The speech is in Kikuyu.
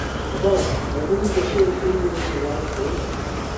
ũhoro. Webundithia kĩ kĩgie rũrĩrĩ rwa gĩkũyũ?